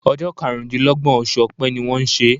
Ojó karùndínlógbòn osù òpe ni wón n sè